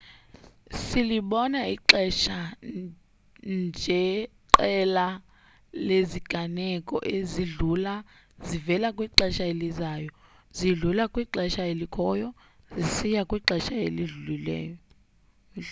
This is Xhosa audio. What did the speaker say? silibona ixesha njeqela leziganeko ezidlula zivela kwixesha elizayo zidlula kwixesha elikhoyo zisiya kwixesha elidlulileyo